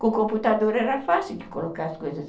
Com computador era fácil de colocar as coisas.